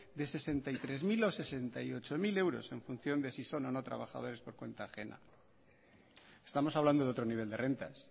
de sesenta y tres mil o sesenta y ocho mil euros en función de si son o no trabajadores por cuenta ajena estamos hablando de otro nivel de rentas